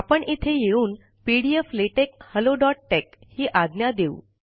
आपण इथे येऊन P D F latex hello dot tex ही आज्ञा देऊ